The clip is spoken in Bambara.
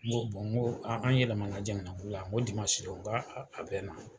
N ko n ko an an yɛlɛmana Jankinɛbugu la, n ko dimansi don n k'a a bɛ na.